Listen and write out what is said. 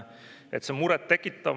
See on muret tekitav.